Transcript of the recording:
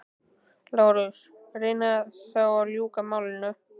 LÁRUS: Reynið þá að ljúka málinu.